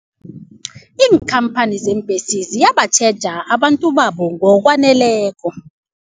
Iinkhamphani zeembhesi ziyatjheja abantu babo ngokwaneleko.